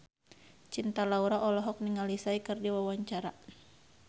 Cinta Laura olohok ningali Psy keur diwawancara